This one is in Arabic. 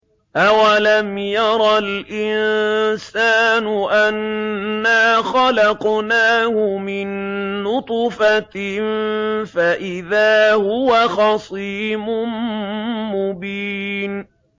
أَوَلَمْ يَرَ الْإِنسَانُ أَنَّا خَلَقْنَاهُ مِن نُّطْفَةٍ فَإِذَا هُوَ خَصِيمٌ مُّبِينٌ